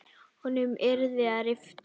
Honum yrði að rifta.